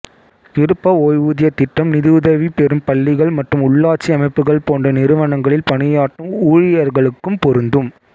விருப்ப ஓய்வூதியத் திட்டம் நிதிஉதவி பெறும் பள்ளிகள் மற்றும் உள்ளாட்சி அமைப்புகள் போன்ற நிறுவனங்களில் பணியாற்றும் ஊழியர்களுக்கும் பொருந்தும்